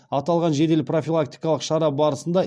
аталған жедел профилактикалық шара барысында